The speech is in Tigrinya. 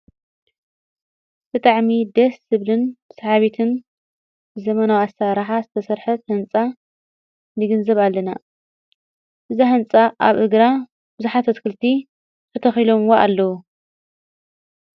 ተታዕሚ ደስ ስብልን ሰሓቢትን ዘመናውሣ ራሓተሠርሐት ሕንፃ ሊግን ዘብ ኣለና ብዛሕንፃ ኣብ እግራ ብዙኃት ኣትክልቲ ኽተኺሎምዋ ኣለዉ።